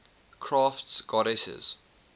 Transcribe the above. crafts goddesses